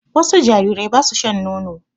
Wasu jarirai ba su shan nono.